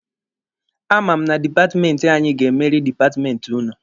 A ma m na dipatmenti anyị ga-emeri dipatmenti ụnụ.